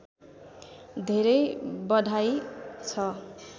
धेरै बधाई छ